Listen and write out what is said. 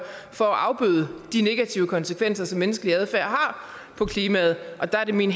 for at afbøde de negative konsekvenser som menneskelig adfærd har på klimaet der er det min